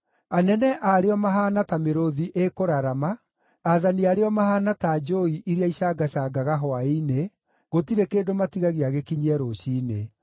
Anene aarĩo mahaana ta mĩrũũthi ĩkũrarama, aathani aarĩo mahaana ta njũũi iria icangacangaga hwaĩ-inĩ, gũtirĩ kĩndũ matigagia gĩkinyie rũciinĩ.